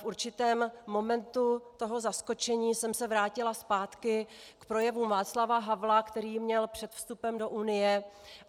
V určitém momentu toho zaskočení jsem se vrátila zpátky k projevu Václava Havla, který měl před vstupem do Unie.